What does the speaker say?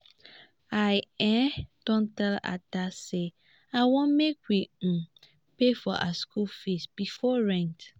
i um don tell ada say i want make we um pay for our school fees before rent